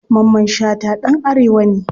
Mamman shata ɗan arewa ne.